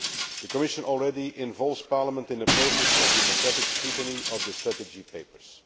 The Commission already involves Parliament in the process of democratic scrutiny of strategy papers.